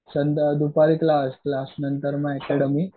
दुपारी class class नंतर मग अकॅडमी